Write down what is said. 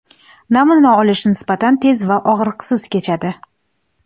Namuna olish nisbatan tez va og‘riqsiz kechadi.